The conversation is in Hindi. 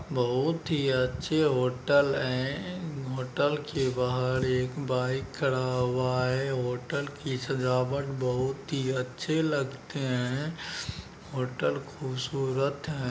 बहुत ही अच्छे होटल है। होटल के बहार एक बाइक खड़ा हुआ है। होटल की सजावट बहुत ही अच्छे लगते है होटल खूबसूरत है ।